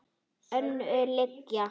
Önnur lygi.